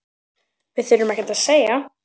Við þurftum ekkert að segja.